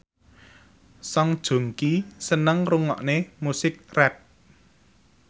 Song Joong Ki seneng ngrungokne musik rap